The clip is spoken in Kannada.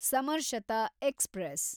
ಸಮರ್ಶತ ಎಕ್ಸ್‌ಪ್ರೆಸ್